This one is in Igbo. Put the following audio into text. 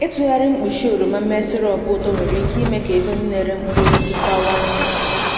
Ịtụgharị mkpuchi oroma mee sirop ụtọ nwere ike ime ka ego ndị na-ere mkpụrụ osisi bawanye.